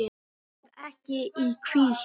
Sér ekki í hvítt.